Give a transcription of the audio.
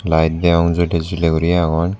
light degong jolley jolley guri agon.